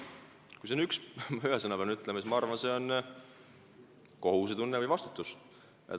Kui ma ühe sõna pean ütlema, siis ma arvan, et see on kohusetunne või vastutus.